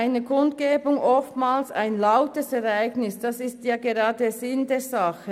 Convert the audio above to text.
Eine Kundgebung ist oftmals ein lautes Ereignis, das ist ja gerade der Sinn der Sache: